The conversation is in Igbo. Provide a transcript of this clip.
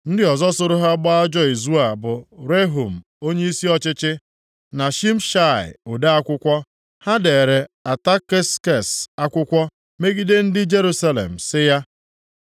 Ndị ọzọ soro ha gbaa ajọ izu a bụ Rehum onyeisi ọchịchị, na Shimshai ode akwụkwọ. Ha deere Ataksekses akwụkwọ megide ndị Jerusalem sị ya: